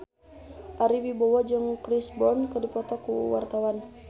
Ari Wibowo jeung Chris Brown keur dipoto ku wartawan